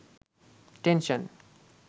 tension